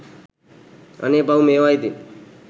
අනේ පව් මේවා ඉතින්